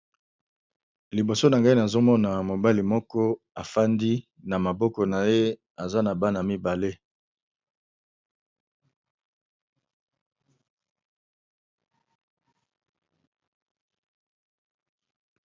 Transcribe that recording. Liboso na ngai nazo mona mobali moko afandi, na maboko na ye aza na bana mibale.